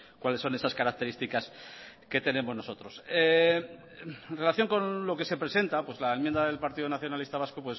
cuáles son esas características que tenemos nosotros en relación con lo que se presenta pues la enmienda del partido nacionalista vasco